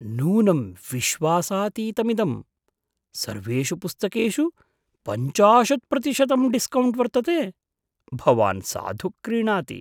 नूनं विश्वासातीतमिदम्! सर्वेषु पुस्तकेषु पञ्चाशत् प्रतिशतं डिस्कौण्ट् वर्तते, भवान् साधु क्रीणाति।